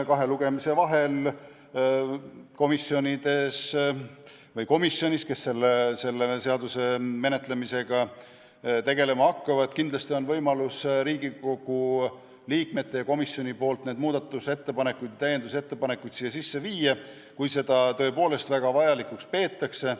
Kahe lugemise vahel on komisjonil või komisjonidel, kes selle seaduse menetlemisega tegelema hakkavad, kindlasti võimalik Riigikogu liikmete ja komisjoni enda muudatusettepanekuid ja täiendusettepanekuid eelnõusse sisse viia, kui seda tõepoolest väga vajalikuks peetakse.